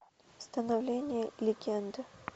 становление легенды